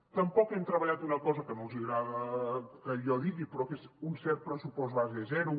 tampoc hem treballat una cosa que no els agrada que jo digui però que és un cert pressupost base zero